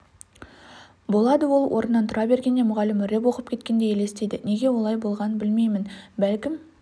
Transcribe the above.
болады ол орнынан тұра бергенде мұғалімі рэп оқып кеткендей елестейді неге олай болғанын білмеймін бәлкім